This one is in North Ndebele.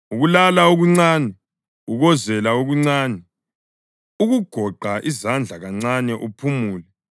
Ukulala okuncane, ukuwozela okuncane, ukugoqa izandla kancane uphumula,